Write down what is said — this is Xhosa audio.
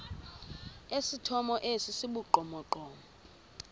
esithomo esi sibugqomogqomo